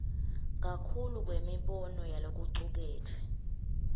kakhulu kwemibono yalokucuketfwe